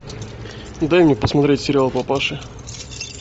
дай мне посмотреть сериал папаши